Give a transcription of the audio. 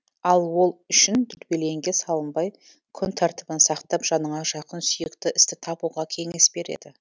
ал ол үшін дүрбелеңге салынбай күн тәртібін сақтап жаныңа жақын сүйікті істі табуға кеңес береді